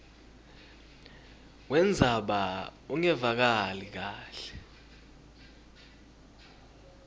wendzaba ungevakali kahle